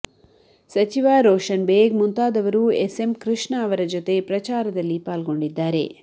ಸಚಿವ ರೋಷನ್ ಬೇಗ್ ಮುಂತಾದವರು ಎಸ್ಎಂ ಕೃಷ್ಣ ಅವರ ಜೊತೆ ಪ್ರಚಾರದಲ್ಲಿ ಪಾಲ್ಗೊಂಡಿದ್ದಾರೆ